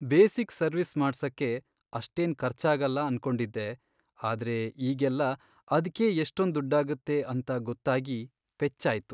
Basic service ಮಾಡ್ಸಕ್ಕೆ ಅಷ್ಟೇನ್ ಖರ್ಚಾಗಲ್ಲ ಅನ್ಕೊಂಡಿದ್ದೆ, ಆದ್ರೆ ಈಗೆಲ್ಲ ಅದ್ಕೇ ಎಷ್ಟೊಂದ್ ದುಡ್ಡಾಗತ್ತೆ ಅಂತ ಗೊತ್ತಾಗಿ ಪೆಚ್ಚಾಯ್ತು.